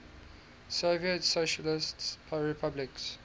soviet socialist republics